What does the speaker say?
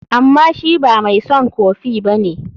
Amma shi ba mai son kofi ba ne.